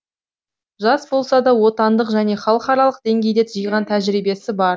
жас болса да отандық және халықаралық деңгейде жиған тәжірибесі бар